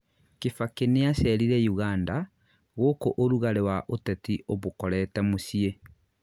kibaki nĩacerire Uganda, gũkũ ũrugarĩ wa ũtetĩ umukorete mũciĩ